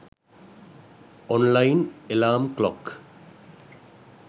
online alarm clock